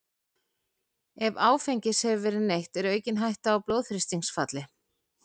Ef áfengis hefur verið neytt er aukin hætta á blóðþrýstingsfalli.